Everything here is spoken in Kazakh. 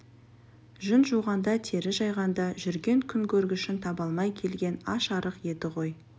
жүн жуғанда тері жайғанда жүрген күнкөргішін таба алмай келген аш-арық еді ғой